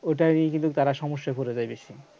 ওটারই কিন্তু তারা সমস্যায় পড়ে যায় বেশি